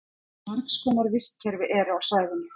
margs konar vistkerfi eru á svæðinu